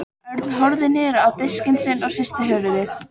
Örn horfði niður á diskinn sinn og hristi höfuðið.